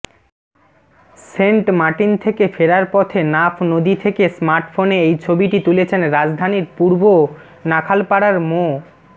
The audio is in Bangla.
সেন্টমার্টিন থেকে ফেরার পথে নাফ নদী থেকে স্মার্টফোনে এই ছবিটি তুলেছেন রাজধানীর পূর্ব নাখালপাড়ার মো